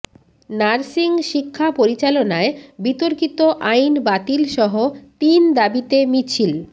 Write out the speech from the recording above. nursing শিক্ষা পরিচালনায় বিতর্কিত আইন বাতিলসহ তিন দাবিতে মিছিল